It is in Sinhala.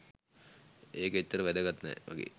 ඒක එච්චර වැදගත් නෑ වගේ